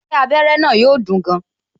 Ṣé abere na yọ dùn yàn?